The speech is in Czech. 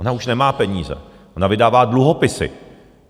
Ona už nemá peníze, ona vydává dluhopisy.